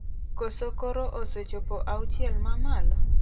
Koso koro osechopo 'auchiel mamalo'?